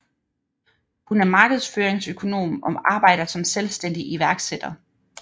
Hun er markedsføringsøkonom og arbejder som selvstændig iværksætter